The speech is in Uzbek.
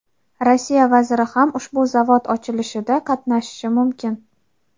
Rossiya vaziri ham ushbu zavod ochilishida qatnashishi mumkin.